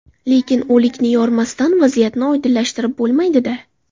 Lekin o‘likni yormasdan vaziyatni oydinlashtirib bo‘lmaydi-da.